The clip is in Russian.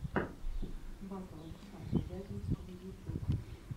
батл александра вяземского ютюб